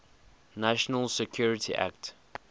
national security act